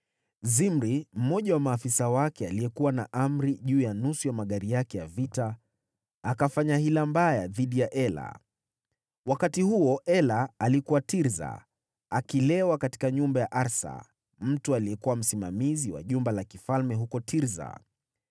Zimri, mmoja wa maafisa wake, aliyekuwa na amri juu ya nusu ya magari yake ya vita, akafanya hila mbaya dhidi ya Ela. Wakati huo Ela alikuwa Tirsa, akilewa katika nyumba ya Arsa, mtu aliyekuwa msimamizi wa jumba la kifalme huko Tirsa.